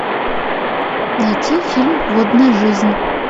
найти фильм водная жизнь